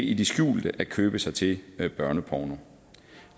i det skjulte at købe sig til børneporno